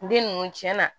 Den ninnu tiɲɛna